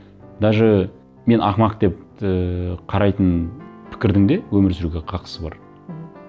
даже мен ақымақ деп қарайтын пікірдің де өмір сүруге қақысы бар мхм